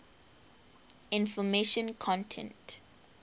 information content